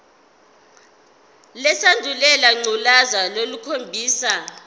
lesandulela ngculazi lukhombisa